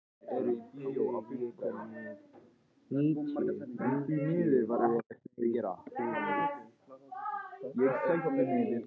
Urðar, ég kom með níutíu og tvær húfur!